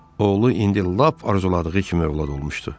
Oğlu indi lap arzuladığı kimi övlad olmuşdu.